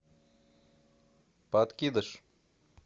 подкидыш